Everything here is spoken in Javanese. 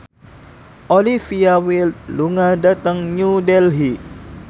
Olivia Wilde lunga dhateng New Delhi